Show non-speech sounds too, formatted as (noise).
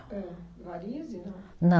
Varize, não? (unintelligible)